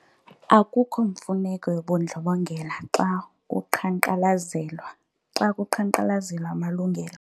Akukho mfuneko yobundlobongela xa kuqhankqalazelwa amalungelo.